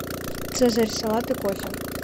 цезарь салат и кофе